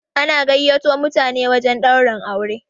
ana gaiyato mutane wajen Ɗaurin aure